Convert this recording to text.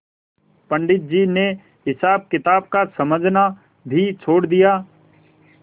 पंडित जी ने हिसाबकिताब का समझना भी छोड़ दिया